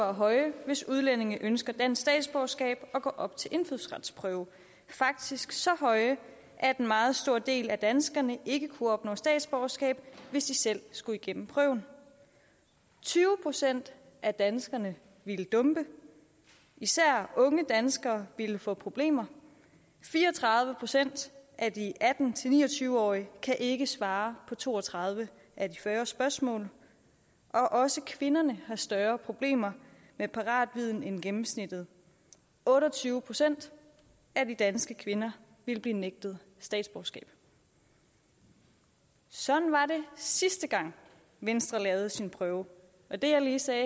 er høje hvis udlændinge ønsker dansk statsborgerskab og til indfødsretsprøve faktisk så høje at en meget stor del af danskerne ikke kunne opnå statsborgerskab hvis de selv skulle igennem prøven tyve procent af danskerne ville dumpe især unge danskere ville få problemer fire og tredive procent af de atten til ni og tyve årige kan ikke svare på to og tredive af de fyrre spørgsmål og også kvinderne har større problemer med paratviden end gennemsnittet otte og tyve procent af de danske kvinder ville blive nægtet statsborgerskab sådan var det sidste gang venstre lavede sin prøve og det jeg lige sagde